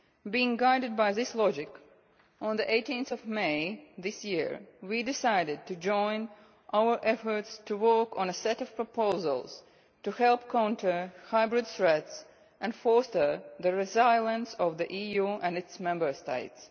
Being guided by this logic, on 18 May this year we decided to join our efforts to work on a set of proposals to help counter hybrid threats and foster the resilience of the EU and its Member States.